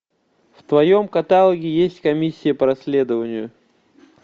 в твоем каталоге есть комиссия по расследованию